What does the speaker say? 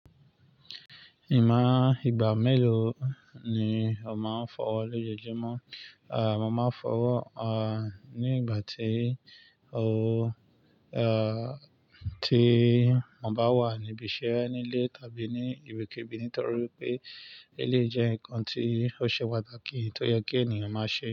Ìwon ìgbà mélòó ni o máa ń fọwọ́ lójoojúmọ́? Mo máa ń fọwọ́ ní ìgbà tí mo bá wà níbi iṣẹ́ nílé tàbí ní ibikíbi nítorí pé eleyi jẹ́ nǹkan tí ó ṣe pàtàkì tó yẹ kí ènìyàn máa ṣe.